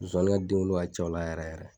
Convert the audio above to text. Zonzani ka den wolo ka ca ol a la yɛrɛ yɛrɛ